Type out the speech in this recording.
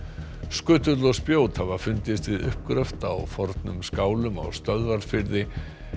skutull og spjót hafa fundist við uppgröft á fornum skálum á Stöðvarfirði